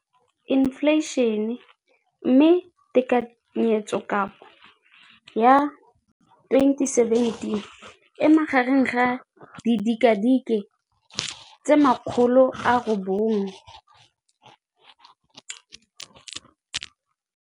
Infleišene, mme tekanyetsokabo ya 2017, 18, e magareng ga R6.4 bilione.